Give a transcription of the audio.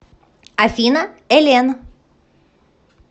афина эллен